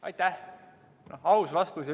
Aitäh!